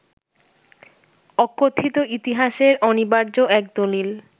অকথিত ইতিহাসের অনিবার্য এক দলিল